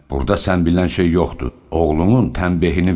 Burda sən bilən şey yoxdur, oğlunun tənbiehini ver.